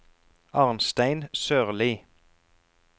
Arnstein Sørlie